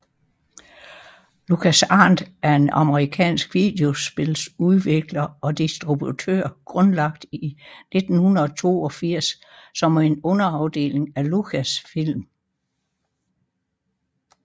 LucasArts er en amerikansk videospiludvikler og distributør grundlagt i 1982 som en underafdeling af Lucasfilm